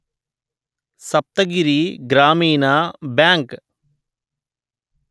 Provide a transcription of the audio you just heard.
Saptagiri Grameena bank